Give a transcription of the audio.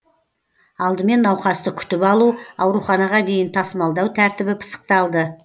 алдымен науқасты күтіп алу ауруханаға дейін тасымалдау тәртібі пысықталды